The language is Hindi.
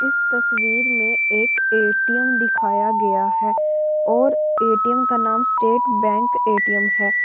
इस तस्वीर में एक ए.टी.एम. दिखाया गया है और एटीएम का नाम स्टेट बैंक ए.टी.एम. है।